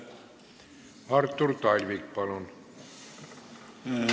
Artur Talvik, palun!